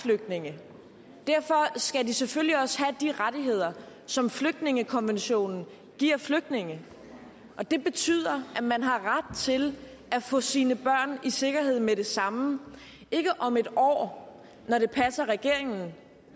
flygtninge derfor skal de selvfølgelig også have de rettigheder som flygtningekonventionen giver flygtninge og det betyder at man har ret til at få sine børn i sikkerhed med det samme ikke om en år når det passer regeringen